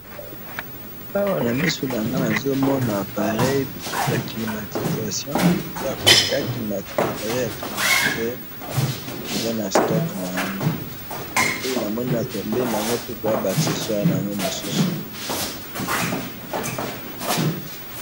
Awa na miso na nga, na moni appareil ya climatisation, eza na ba accessoires na yango mususu.